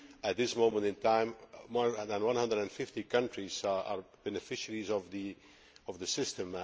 At this moment in time, more than 150 countries are beneficiaries of the system.